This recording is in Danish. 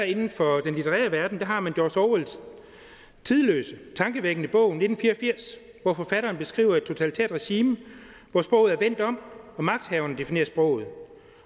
inden for den litterære verden har man george orwells tidløse tankevækkende bog nitten fire og firs hvori forfatteren beskriver et totalitært regime hvor sproget er vendt om og magthaverne definerer sproget